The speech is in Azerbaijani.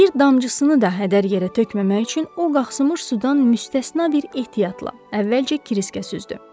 Bir damcısını da hədər yerə tökməmək üçün o, qalxmış sudan müstəsna bir ehtiyatla əvvəlcə Kriskə süzdü.